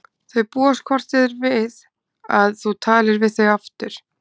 Þau búast hvort eð er við að þú talir við þau aftur.